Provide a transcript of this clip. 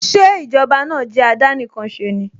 Ṣé Ìjọba náà jẹ́ àdánìkanṣeni?